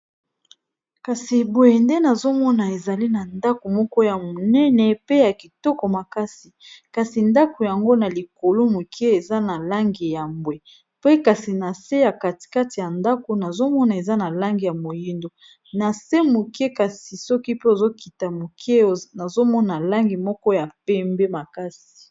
kasi eboye nde nazomona ezali na ndako moko ya monene pe ya kitoko makasi kasi ndako yango na likolo moke eza na langi ya mbwe pe kasi na se ya katikati ya ndako nazomona eza na langi ya moyindo na se moke kasi soki pe ozokita moke nazomona langi moko ya pembe makasi